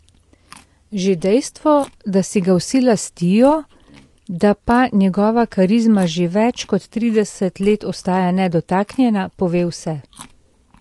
Že dejstvo, da si ga vsi lastijo, da pa njegova karizma že več kot trideset let ostaja nedotaknjena, pove vse.